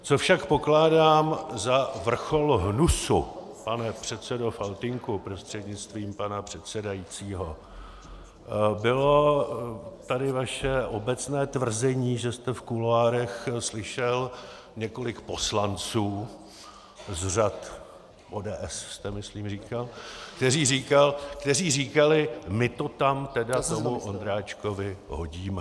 Co však pokládám za vrchol hnusu, pane předsedo Faltýnku prostřednictvím pana předsedajícího, bylo tady vaše obecné tvrzení, že jste v kuloárech slyšel několik poslanců z řad ODS - jste myslím říkal - kteří říkali: "My to tam teda tomu Ondráčkovi hodíme."